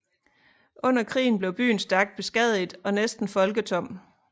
Under krigen blev byen stærkt beskadiget og næsten folketom